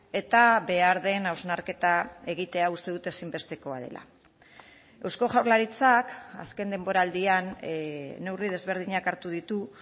eta behar den hausnarketa egitea uste dut ezinbestekoa dela eusko jaurlaritzak azken denboraldian neurri desberdinak hartu ditu